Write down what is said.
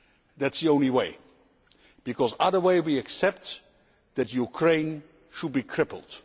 That is the only way. Because any other way, we accept that Ukraine should be crippled.